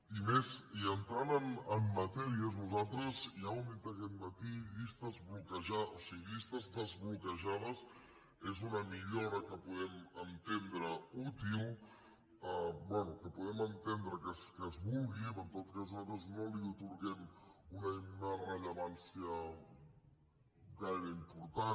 i més i entrant en matèria nosaltres ja ho hem dit aquest matí les llistes desbloquejades és una millora que podem entendre útil bé que podem entendre que es vulgui però en tot cas nosaltres no li atorguem una rellevància gaire important